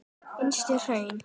Yngstu hraun